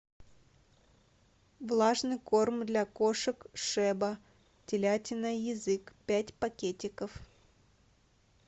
влажный корм для кошек шеба телятина язык пять пакетиков